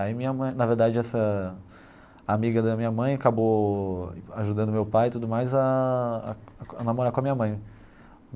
Aí minha mãe, na verdade, essa amiga da minha mãe acabou ajudando meu pai e tudo mais a a a a namorar com a minha mãe.